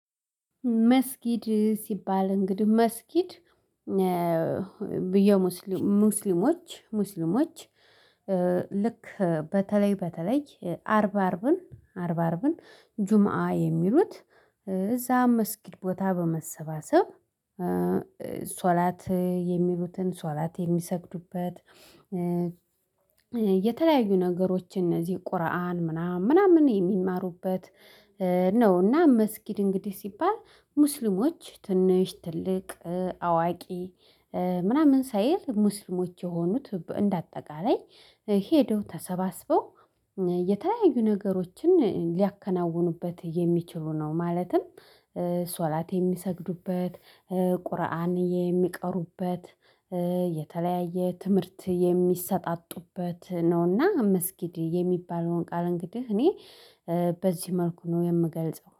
መስጊድ ሲባል እንግዲህ መስጊድ የሙስሊሞች ሙስሊሞች ልክ በተለይ በተለይ አርብ አርብን አርባ አርብን ጁማ የሚሉት እዛ መስጊድ ቦታ በመሰባሰብ ሶላት የሚሉትን ሶላት የሚሰግዱበት የተለያዩ ነገሮችን እነዚህ ቁርአን ምናምን ምናምን የሚማሩበት ነው። እና መስጊድ እንግዲህ ሲባል ሙስሊሞች ትንሽ ትልቅ አዋቂ ምናምን ሳይል ሙስሊሞች የሆኑት እንደ አጠቃላይ ሄደው ተሰባስበው የተለያዩ ነገሮችን ሊያከናውኑበት የሚችሉ ነው። ማለትም ሶላት የሚሰግዱበት ቁርአን የሚቀሩበት የተለያየ ትምህርት የሚሰጣጡበት ነውና መስጊድ የሚባለውን ቃል እንግዲህ እኔ በዚህ መልኩ ነው የምገልጸው